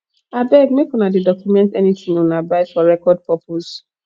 abeg make una dey document anything una buy for record purpose